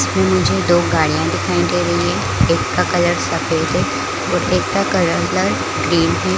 इसमें मुझे दो गाड़ियां दिखाई दे रही है एक का कलर सफ़ेद है और एक का कलर ग्रीन है।